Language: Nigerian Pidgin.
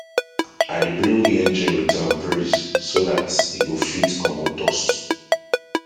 i dey blow the engine with um breeze so dat e go fit comot dust